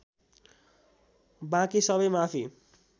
बाँकी सबै माफी